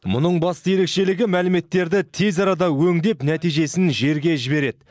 мұның басты ерекшелігі мәліметтерді тез арада өңдеп нәтижесін жерге жібереді